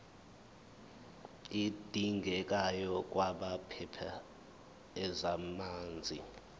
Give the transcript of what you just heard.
adingekayo kwabaphethe ezamanzi